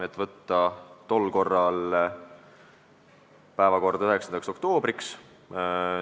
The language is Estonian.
Otsustati teha ettepanek võtta eelnõu päevakorda 9. oktoobriks.